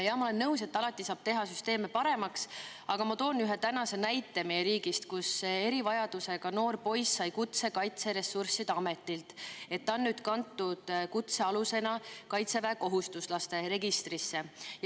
Jah, ma olen nõus, et alati saab teha süsteemi paremaks, aga ma toon ühe näite meie riigist, kus erivajadusega noor poiss sai kutse Kaitseressursside Ametilt, et ta on nüüd kantud kutsealusena kaitseväekohustuslaste registrisse.